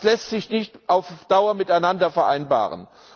Das lässt sich nicht auf Dauer miteinander vereinbaren.